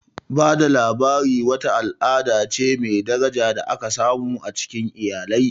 Ba da labari wata al'ada ce mai daraja da aka samu a cikin iyalai.